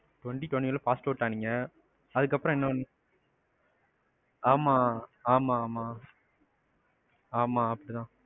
twenty twenty one ல passed out ஆனீங்க. அதுக்கப்பறம் என்ன ஆமா. ஆமா, ஆமா ஆமா